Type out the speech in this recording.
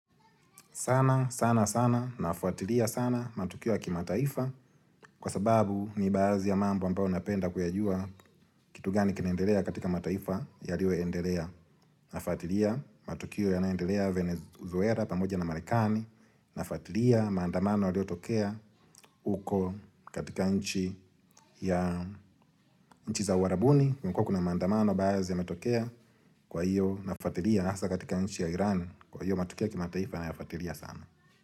Sana, sana, sana, nafuatilia sana, matukio ya kimataifa kwa sababu ni baadhi ya mambo ambayo ninapenda kuyajua kitu gani kinaendelea katika mataifa yaliyo endelea. Nafuatilia matukio yanayoendelea Venezuela pamoja na Marekani nafuatilia maandamano yaliyotokea uko, katika nchi ya, nchi za Uarabuni. Kama kuna maandamano baadhi yametokea kwa hiyo nafuatilia hasa katika nchi ya Irani, kwa hiyo matukio kimataifa nayafuatilia sana.